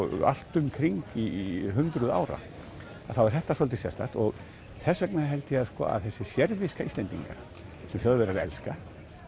allt um kring í hundruð ára að þá er þetta svolítið sérstakt og þess vegna held ég að þessi sérviska Íslendinga sem Þjóðverjar elska